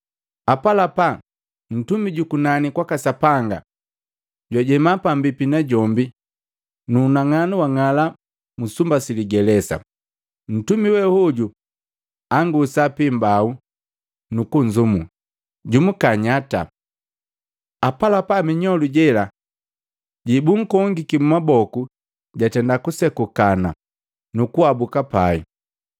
Apalapa, ntumi jukunani kwaka Sapanga jwajema pambipi najombi na unang'anu wang'ala sumba siligelesa. Ntumi we hoju angusa piimbau nukunzumu, “Jumuka nyata!” Apalapa minyolu jela jebunkongiki maboku jatenda kusekuka nukuabuka pai.